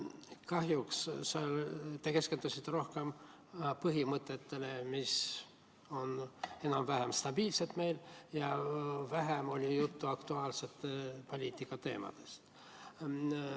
Kahjuks te keskendusite rohkem põhimõtetele, mis on meil enam-vähem stabiilsed, aga vähem oli juttu aktuaalse poliitika teemadest.